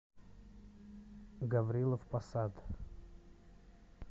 гаврилов посад